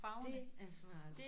Det er smart